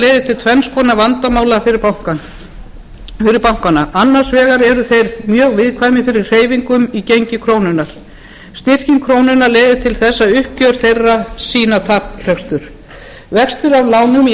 til tvenns konar vandamála fyrir bankana annars vegar eru þeir mjög viðkvæmir fyrir hreyfingum í gengi krónunnar styrking krónunnar leiðir til þess að uppgjör þeirra sýna taprekstur vextir af lánum í